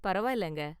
பரவாயில்லைங்க.